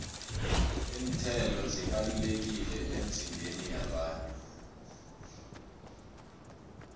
iinthelo zibalulekile emizimbeni yabantu